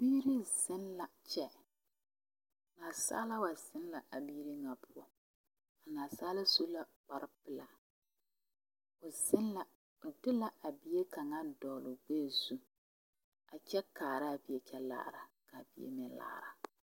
Biiri zeŋ la kyɛ nansaala wa zeŋ la a biiri ŋa poɔ a nansaala su la kparepelaa o zeŋ la o de la a bie kaŋa a dogli o gbɛɛzu a kyɛ kaa bie kyɛ laara ka bie meŋ laara.